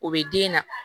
O bɛ den na